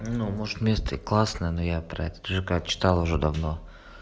ну может место и классное но я про этот жк читал уже давно